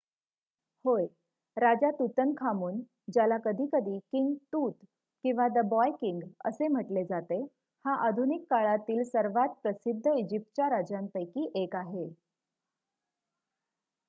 "होय! राजा तूतनखामून ज्याला कधीकधी "किंग तूत" किंवा "द बॉय किंग" असे म्हटले जाते हा आधुनिक काळातीळ सर्वांत प्रसिद्ध इजिप्तच्या राजांपैकी एक आहे.